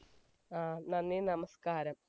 ആ നന്ദി നമസ്കാരം